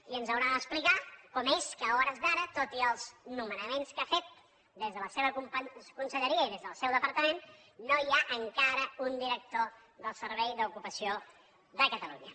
i ens haurà d’explicar com és que a hores d’ara tot i els nomenaments que ha fet des de la seva conselleria i des del seu departament no hi ha encara un director del servei d’ocupació de catalunya